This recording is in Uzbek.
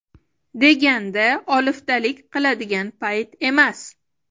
deganda oliftalik qiladigan payt emas.